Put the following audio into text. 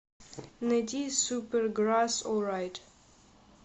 найди суперграсс олрайт